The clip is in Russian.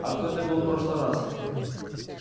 а кто это был в прошлый раз